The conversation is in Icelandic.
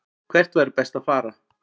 Hvert væri best að fara?